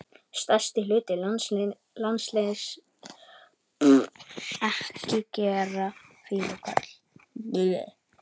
Stærsti hluti landsins er eyðimörk.